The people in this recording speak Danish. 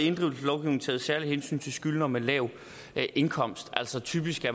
taget særlige hensyn til skyldnere med lav indkomst altså typisk